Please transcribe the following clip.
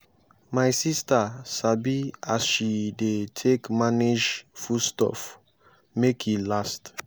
my sista sabi as she dey take manage food stuff make e last.